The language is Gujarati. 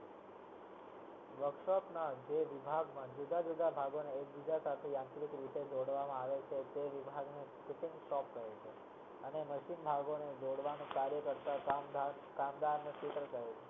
workshop માં જે વિભાગમાં જુદા જુદા ભાગના યંત્રો ને જોડવા માં આવે છે